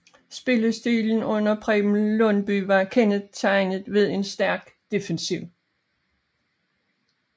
Spillestilen under Preben Lundbye var kendetegnet ved en stærk defensiv